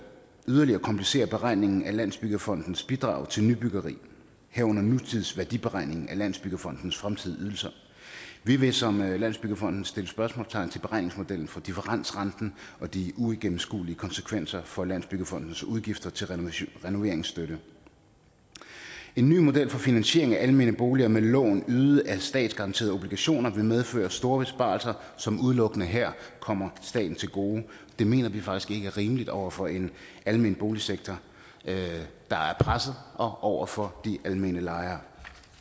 yderligere komplicere beregningen af landsbyggefondens bidrag til nybyggeri herunder nutidsværdiberegningen af landsbyggefondens fremtidige ydelser vi vil som landsbyggefonden sætte spørgsmålstegn ved beregningsmodellen for differensrenten og de uigennemskuelige konsekvenser for landsbyggefondens udgifter til renoveringsstøtte en ny model for finansiering af almene boliger med lån ydet af statsgaranterede obligationer vil medføre store besparelser som udelukkende her kommer staten til gode det mener vi faktisk ikke er rimeligt over for en almen boligsektor der er presset og over for de almindelige lejere